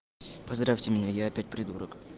поздравьте меня я опять придурок